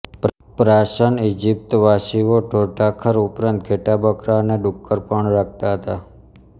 પ્રાચન ઇજિપ્તવાસીઓ ઢોરઢાંખર ઉપરાંત ઘેંટા બકરા અને ડુક્કર પણ રાખતા હતા